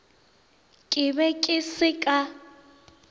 ke be ke se ka